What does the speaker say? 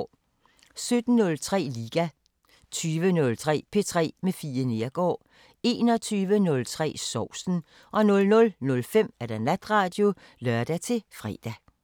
17:03: Liga 20:03: P3 med Fie Neergaard 21:03: Sovsen 00:05: Natradio (lør-fre)